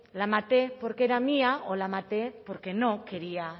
la maté porque era mía o la maté porque no quería